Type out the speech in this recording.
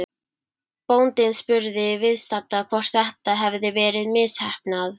Bóndinn spurði viðstadda hvort þetta hefði verið misheppnað.